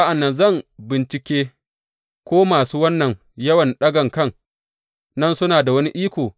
Sa’an nan zan bincike ko masu wannan yawan ɗagan kan nan suna da wani iko.